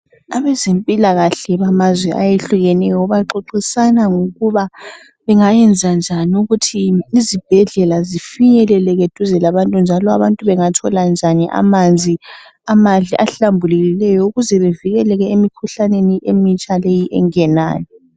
Abazempilakahle bamazwe ahlukeneyo baxoxisana ngokuba bengayenzanjani ukuthi izibhedlela zifinyeleleke duze labantu njalo abantu bengathola njani amanzi amahle ahlambulukileyo ukuze bevikeleke emikhuhlaneni emitsha leyi engenayo